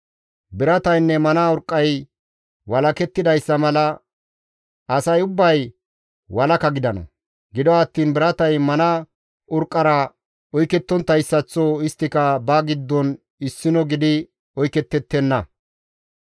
Birataynne mana urqqay walakettidayssa mala asay ubbay walaka gidana; gido attiin biratay mana urqqara oykettonttayssaththo isttika ba giddon issino gidi oyketettenna.